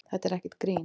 Þetta er ekkert grín.